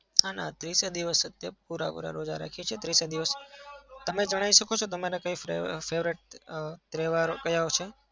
ના ના ત્રીસએ દિવસ રોઝા રાખીએ છીએ. પુરા-પુરા રોઝા રાખીએ છીએ ત્રીસએ દિવસ. તમે જણાવી શકો છો તમારે કંઈ favorite અમ તહેવારો ક્યાં છે?